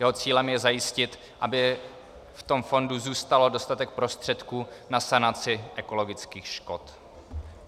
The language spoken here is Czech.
Jeho cílem je zajistit, aby v tom fondu zůstal dostatek prostředků na sanaci ekologických škod.